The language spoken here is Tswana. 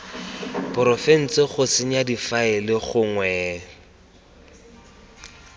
porofense go senya difaele gongwe